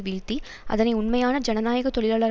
வீழ்த்தி அதனை உண்மையான ஜனநாயக தொழிலாளர்